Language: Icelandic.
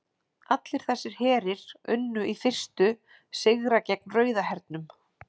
Allir þessir herir unnu í fyrstu sigra gegn Rauða hernum.